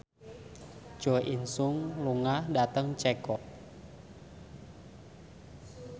Jo In Sung lunga dhateng Ceko